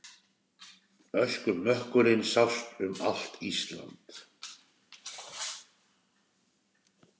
Öskumökkurinn sást um allt Ísland.